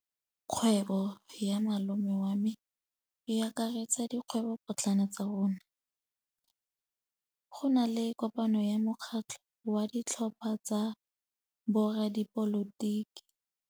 Kgwêbô ya malome wa me e akaretsa dikgwêbôpotlana tsa rona. Go na le kopanô ya mokgatlhô wa ditlhopha tsa boradipolotiki.